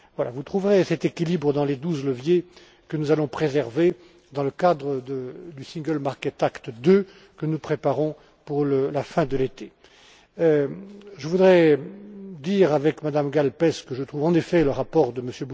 Vous trouverez cet équilibre dans les douze leviers que nous allons préserver dans le cadre du single market act II que nous préparons pour la fin de l'été. Je voudrais dire, avec Mme Gáll Pelcz, que je trouve, en effet, le rapport de